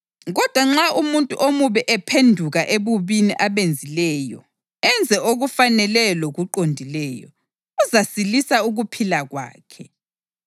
Kodwa nxa umuntu omubi ephenduka ebubini abenzileyo enze okufaneleyo lokuqondileyo, uzasilisa ukuphila kwakhe.